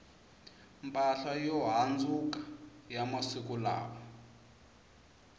mpahla yo handzuka ya masiku lawa